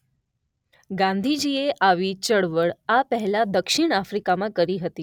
ગાંધીજી એ આવી ચળવળ આ પહેલાં દક્ષિણ આફ્રીકામાં કરી હતી.